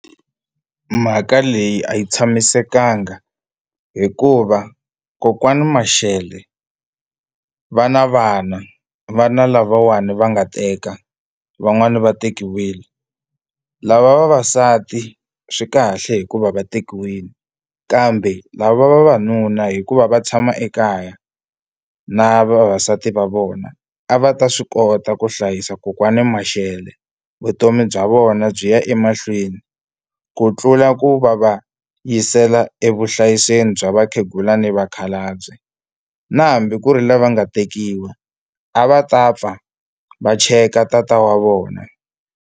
Mhaka leyi a yi tshamisekanga hikuva kokwani Mashele vana vana vana lavawani va nga teka van'wani va tekiwile lava vavasati swi kahle hikuva va tekiwile kambe lava vavanuna hikuva va tshama ekaya na vavasati va vona a va ta swi kota ku hlayisa kokwani Mashele vutomi bya vona byi ya emahlweni ku tlula ku va va yisela evuhlayiselweni bya vakhegula ni vakhalabye na hambi ku ri lava nga tekiwa a va ta pfa va cheka tata wa vona.